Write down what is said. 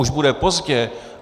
Už bude pozdě.